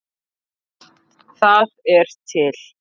Það er til